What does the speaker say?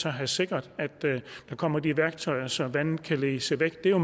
have sikret at der kommer de værktøjer så vandet kan ledes væk det er jo